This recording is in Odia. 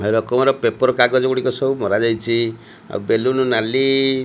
ପେପର୍ କାଗଜ ଗୁଡ଼ିକ ସବୁ ମରାଯାଇଛି। ଆଉ ବେଲୁନୁ ନାଲି --